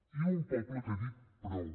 i un poble que ha dit prou